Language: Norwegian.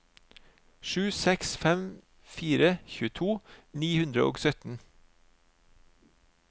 sju seks fem fire tjueto ni hundre og sytten